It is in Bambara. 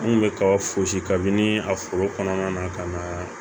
N kun bɛ kaba fosi kabini a foro kɔnɔna na ka na